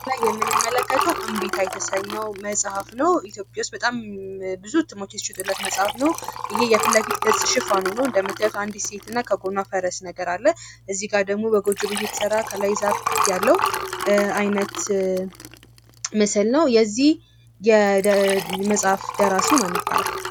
በምስሉ ላይ የምንመለከተው እምቢታ የተሰኘው መጽሐፍ ነው ። ኢትዮጵያ ውስጥ በጣም ብዙ እትሞች የተሸጡለት መጽሐፍ ነው ። ይህ የፊት ለፊት ገፅ ሽፋኑ ነው ። እንደምታዩት አንዲት ሴት እና ከጎኗ ፈረስ ነገር አለ ። እዚህ ጋ ደግሞ በጎጆ ቤት የተሰራ ከላይ ዛፍ ያለው አይነት ምስል ነው ። የዚህ የመጽሐፍ ደራሲው ማን ይባላል?